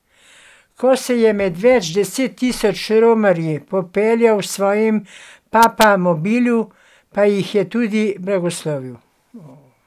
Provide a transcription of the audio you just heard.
Ko se je med več deset tisoč romarji popeljal v svojem papamobilu, pa jih je tudi blagoslovil.